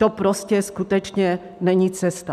To prostě skutečně není cesta.